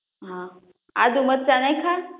હા આદુ મરચાં નાખ્યાં?